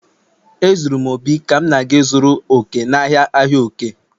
Ezuru m obi ka m na-aga ịzụrụ òkè, n'ahịa ahịa òkè